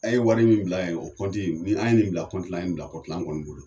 A ye wari min bila yen o ni an ye nin bila an ye bila an kɔni bolo.